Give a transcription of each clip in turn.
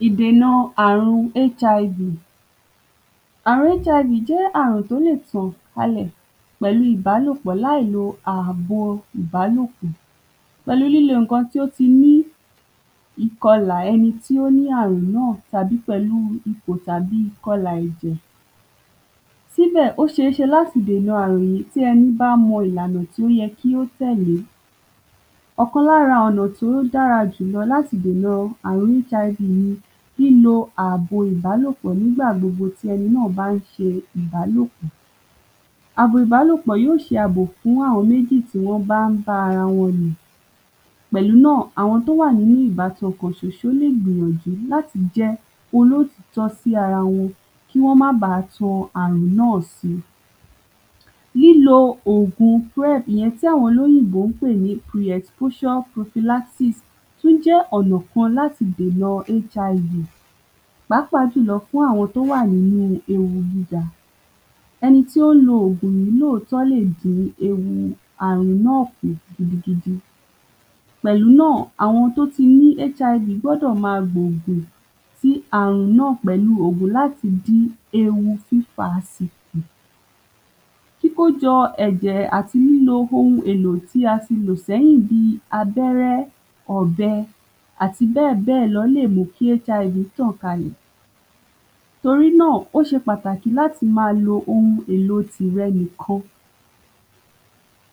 ﻿Ìdèna ààrun HIV. Ààrun HIV jẹ́ àrùn tí ó lè tàn kalè pẹ̀lú ìbálòpọ̀ líà lo àbo ìbálòpọ̀. Pẹ̀lú lílo nnkan tí ó ti ní ìkọlà ẹni tí ó ní ààrùn náà tàbí pẹ̀lú ipọ̀ tàbí ìkọlà ẹ̀jẹ̀, síbẹ̀, ó ṣé ṣe láti dèna àrùn yí tí ẹni bá mọ ìlànà tí ó yẹ kí ó tẹ̀lẹ́. ọ̀kan lára ọ̀nà tí ó dára jùlọ láti dèna ààrùn HIV ni lílo àbo ìbálòpọ̀ nígbà gbogbo tí ẹni náà bá n ṣe ìbálòpọ̀. Àbò ìbálòpọ̀ yó ṣe àbò fún àwọn mẹ́jì tí wọ́n n bá n bá arawọn lò. Pẹ̀lú nà, àwọn tí ó wà nínú ìbáso kan ṣọṣọ lè gbìyànjú láti jẹ olótòótó sí arawọn, kí wọ́n má bá tan àrùn náà si. Lílo ògùn, ìyẹn tí àwọn olóyìnbó n pè ní tún jẹ́ ọ̀nà kan láti dèna HIV, pàápàá jùlọ fún àwọn tí ó wà nínú ewu jíga. ẹni tí ó n lo ògùn yí lóòtọ́ọ́ lè dín ewu àrùn náà kù gidigidi. Pẹ̀lú nà, àwọn tí ó ti ní HIV gbọ́dò ma gbògùn ti àrùn náà, pẹ̀lú ògùn láti dí ewu pípa si. Kíkójọ ẹ̀jẹ̀ àti lílo ohun èlò tí a ti lò ṣẹ́yìn bí abẹ́rẹ́, ọ̀bẹ, àti bẹ́ẹ̀ bẹ́ẹ̀ lọ lè mú kí HIV tàn kalẹ̀. Torí náà, ó ṣe pàtàkì láti ma lo ohun èlo tìrẹ nìkan.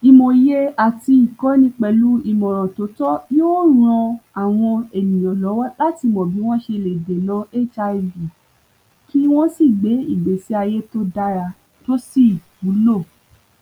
Ìmòye àti ìkọ́ni pẹ̀lú ìmọ̀ràn tí ó tọ́ yó ran àwọn ènìyàn lọ́wọ́ láti mọ̀ bí wọ́n ṣe lè dèna HIV, kí wọ́n sì gbé ìgbésí ayẹ́ tí ó dára tí ó sì wúlò.